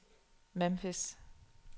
Memphis